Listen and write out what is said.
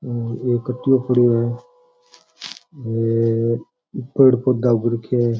और एक काटियो पड़ो है एक पेड़ पौधे भी उग रखा है।